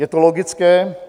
Je to logické.